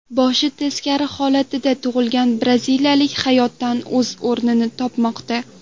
Boshi teskari holatda tug‘ilgan braziliyalik hayotda o‘z o‘rnini topmoqda.